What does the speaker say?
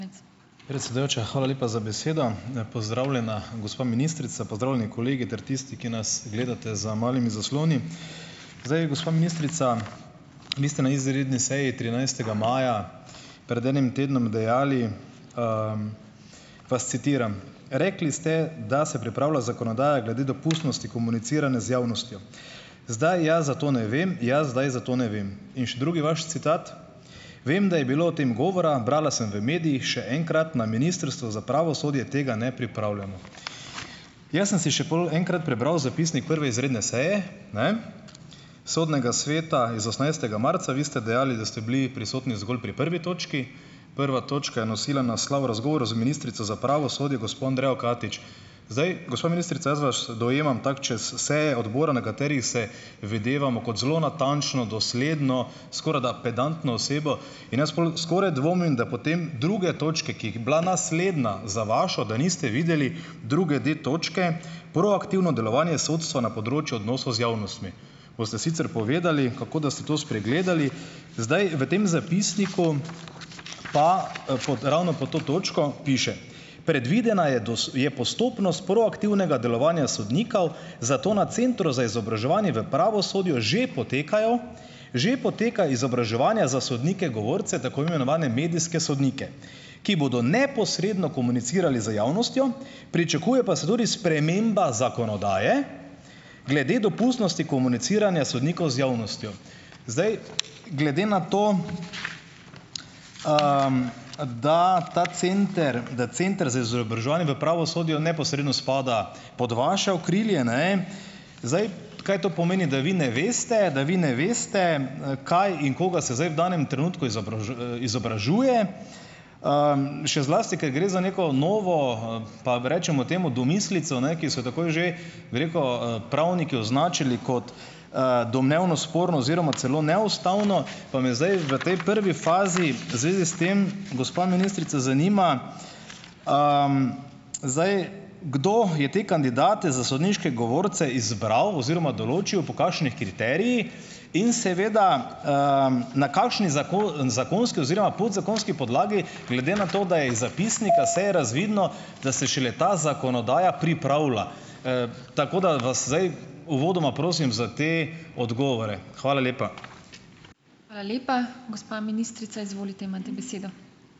Predsedujoča, hvala lepa za besedo. Pozdravljena gospa ministrica, pozdravljeni kolegi ter tisti, ki nas gledate za malimi zasloni. Zdaj, gospa ministrica, vi ste na izredni seji trinajstega maja, pred enim tednom, dejali, vas citiram. Rekli ste, da se pripravlja zakonodaja glede dopustnosti komuniciranja z javnostjo. "Zdaj, jaz za to ne vem, jaz zdaj za to ne vem." In še drugi vaš citat: "Vem, da je bilo o tem govora, brala sem v medijih. Še enkrat. Na Ministrstvu za pravosodje tega ne pripravljamo." Jaz sem si še pol enkrat prebral zapisnik prve izredne seje, ne, Sodnega sveta iz osemnajstega marca. Vi ste dejali, da ste bili prisotni zgolj pri prvi točki. Prva točka je nosila naslov Razgovor z ministrico za pravosodje gospo Andrejo Katič. Zdaj, gospa ministrica, jaz vas dojemam tako, čez vse seje odbora, na katerih se videvamo, kot zelo natančno, dosledno, skorajda pedantno osebo. In jaz skoraj dvomim, da potem druge točke, ki jih bila naslednja za vašo, da niste videli druge da točke: Proaktivno delovanje sodstva na področju odnosov z javnostmi. Ko ste sicer povedali, kako, da ste to spregledali, zdaj v tem zapisniku, pa pod ravno pod to točko piše: "Predvidena je je postopnost proaktivnega delovanja sodnikov, zato na Centru za izobraževanje v pravosodju že potekajo, že poteka izobraževanja za sodnike govorce, tako imenovane medijske sodnike. Ki bodo neposredno komunicirali z javnostjo. Pričakuje pa se tudi sprememba zakonodaje glede dopustnosti komuniciranja sodnikov z javnostjo." Zdaj, glede na to, da ta center, da Center za izobraževanje v pravosodju neposredno spada pod vaše okrilje, ne. Zdaj, kaj to pomeni, da vi ne veste, da vi ne veste, kaj in koga se zdaj v danem trenutku izobražuje? Še zlasti ker gre za neko novo, pa rečemo temu domislico, ne, ki so jo takoj že, bi rekel, pravniki označili kot, domnevno sporno oziroma celo neustavno. Pa me zdaj v tej prvi fazi v zvezi s tem, gospa ministrica, zanima, zdaj, kdo je te kandidate za sodniške govorce izbral oziroma določil, po kakšnih kriterijih in seveda, na kakšni zakonski oziroma podzakonski podlagi, glede na to, da je iz zapisnika sej razvidno, da se šele ta zakonodaja pripravlja. Tako, da vas zdaj uvodoma prosim za te odgovore. Hvala lepa.